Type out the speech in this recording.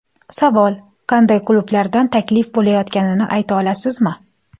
Savol: Qanday klublardan taklif bo‘layotganini ayta olasizmi?